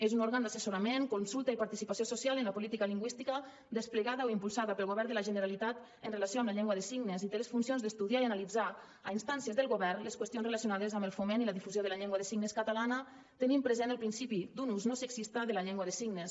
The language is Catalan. és un òrgan d’assessorament consulta i participació social en la política lingüística desplegada o impulsada pel govern de la generalitat en relació amb la llengua de signes i té les funcions d’estudiar i analitzar a instàncies del govern les qüestions relacionades amb el foment i la difusió de la llengua de signes catalana tenint present el principi d’un ús no sexista de la llengua de signes